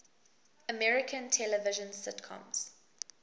american television sitcoms